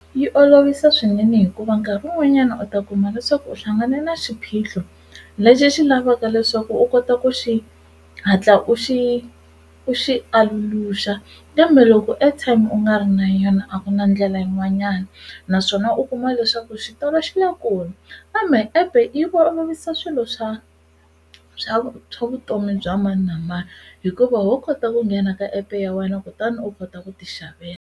Yi olovisa swinene hikuva nkarhi wun'wanyana u ta kuma leswaku u hlangane na xiphiqo lexi xi lavaka leswaku u kota ku xi hatla u xi u xi aluluxa kambe loko airtime u nga ri na yona a ku na ndlela yin'wanyani naswona u kuma leswaku xitolo xi le kule kambe epe yi olovisa swilo swa swa vutomi bya mani na mani hikuva ho kota ku nghena ka epe ya wena kutani u kota ku ti xavela.